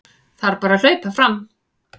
Þarf bara að hlaupa fram